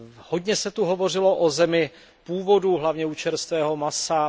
Hodně se tu hovořilo o zemi původu, hlavně u čerstvého masa.